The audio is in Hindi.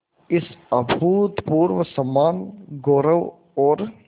इस अभूतपूर्व सम्मानगौरव और